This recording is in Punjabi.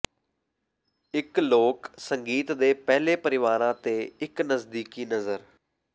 ਇੱਕ ਲੋਕ ਸੰਗੀਤ ਦੇ ਪਹਿਲੇ ਪਰਿਵਾਰਾਂ ਤੇ ਇੱਕ ਨਜ਼ਦੀਕੀ ਨਜ਼ਰ